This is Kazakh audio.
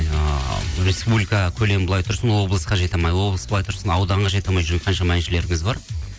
ыыы республика көлемі былай тұрсын облысқа жете алмай облыс былай тұрсын ауданға жете алмай жүрген қаншама әншілеріміз бар